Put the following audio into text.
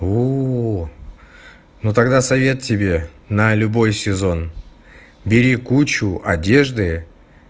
о ну тогда совет тебе на любой сезон бери кучу одежды